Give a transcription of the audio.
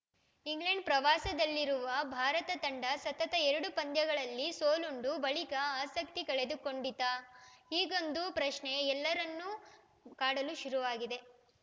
England ಪ್ರವಾಸದಲ್ಲಿರುವ ಭಾರತ ತಂಡ ಸತತ ಎರಡು ಪಂದ್ಯಗಳಲ್ಲಿ ಸೋಲುಂಡ ಬಳಿಕ ಆಸಕ್ತಿ ಕಳೆದುಕೊಂಡಿತಾ ಹೀಗೊಂದು ಪ್ರಶ್ನೆ ಎಲ್ಲರನ್ನೂ ಕಾಡಲು ಶುರುವಾಗಿದೆ